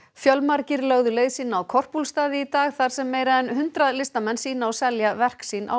fjölmargir lögðu leið sína á Korpúlfsstaði í dag þar sem meira en hundrað listamenn sýna og selja verk sín á